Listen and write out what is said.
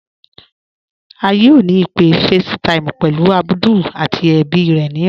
À yóò ni ìpé FaceTime pẹ̀lú Abdul àti èbí rè ni ọlá.